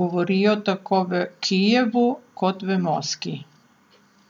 govorijo tako v Kijevu kot v Moskvi.